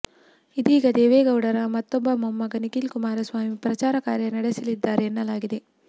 ಇದೀಗ ದೇವೇಗೌಡರ ಮತ್ತೊಬ್ಬ ಮೊಮ್ಮಗ ನಿಖಿಲ್ ಕುಮಾರಸ್ವಾಮಿ ಪ್ರಚಾರ ಕಾರ್ಯ ನಡೆಸಲಿದ್ದಾರೆ ಎನ್ನಲಾಗಿದೆ